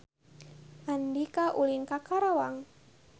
Andika ulin ka Karawang